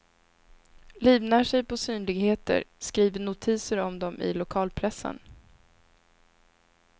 Livnär sig på synligheter, skriver notiser om dem i lokalpressen.